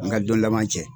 An ka don laban cɛ